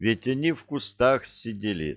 ведь они в кустах сидели